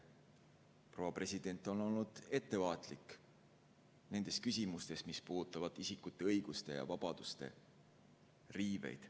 Proua president on olnud ettevaatlik nendes küsimustes, mis puudutavad isikute õiguste ja vabaduste riivet.